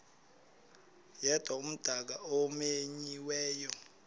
yedwa umdaka omenyiweyo